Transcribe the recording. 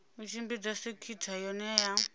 u tshimbidza sekhitha yohe ya